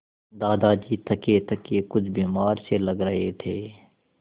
दादाजी थकेथके कुछ बीमार से लग रहे थे